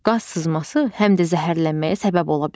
Qaz sızması həm də zəhərlənməyə səbəb ola bilər.